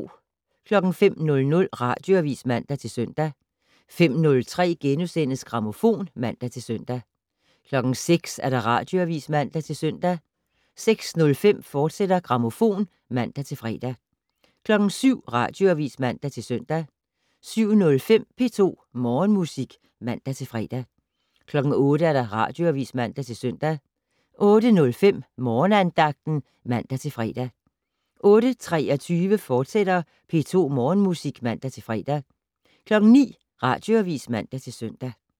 05:00: Radioavis (man-søn) 05:03: Grammofon *(man-søn) 06:00: Radioavis (man-søn) 06:05: Grammofon, fortsat (man-fre) 07:00: Radioavis (man-søn) 07:05: P2 Morgenmusik (man-fre) 08:00: Radioavis (man-søn) 08:05: Morgenandagten (man-fre) 08:23: P2 Morgenmusik, fortsat (man-fre) 09:00: Radioavis (man-søn)